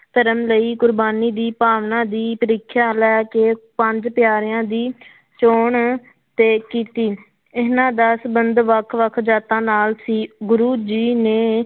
ਧਰਮ ਲਈ ਕੁਰਬਾਨੀ ਦੀ ਭਾਵਨਾ ਦੀ ਪ੍ਰੀਖਿਆ ਲੈ ਕੇ ਪੰਜ ਪਿਆਰਿਆਂ ਦੀ ਚੌਣ ਤੇ ਕੀਤੀ, ਇਹਨਾਂ ਦਾ ਸੰਬੰਧ ਵੱਖ ਵੱਖ ਜਾਤਾਂ ਨਾਲ ਸੀ ਗੁਰੂ ਜੀ ਨੇ